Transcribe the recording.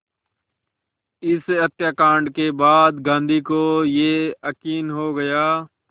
इस हत्याकांड के बाद गांधी को ये यक़ीन हो गया